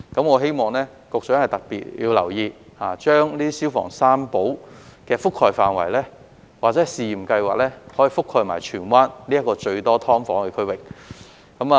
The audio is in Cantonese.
我希望局長要特別留意，把"消防三寶"的覆蓋範圍或試驗計劃覆蓋至荃灣這個最多"劏房"的區域。